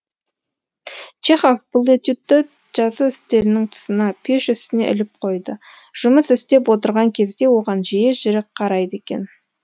чехов бұл этюдті жазу үстелінің тұсына пеш үстіне іліп қойды жұмыс істеп отырған кезде оған жиі жиі қарайды екен